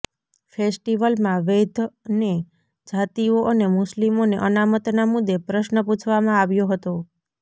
ફેસ્ટિવલમાં વૈદ્યને જાતિઓ અને મુસ્લિમોને અનામતના મુદ્દે પ્રશ્ન પૂછવામાં આવ્યો હતો